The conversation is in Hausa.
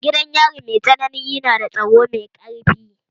Gidan yari mai tsanani yana da tsaro mai ƙarfi